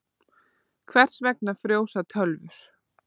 Hvers vegna frjósa tölvur?